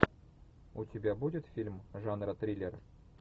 у тебя будет фильм жанра триллер